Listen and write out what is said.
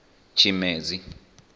tshimedzi